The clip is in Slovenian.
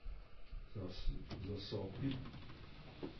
Zasopi.